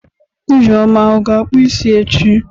Ijeoma ọ ga-akpụ isi ya echi?